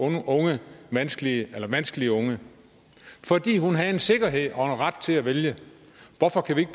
vanskelige vanskelige unge fordi hun havde en sikkerhed og en ret til at vælge hvorfor kan vi ikke